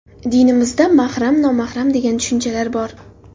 Dinimizda mahram, nomahram degan tushunchalar bor.